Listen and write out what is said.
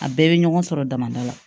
A bɛɛ bɛ ɲɔgɔn sɔrɔ damada la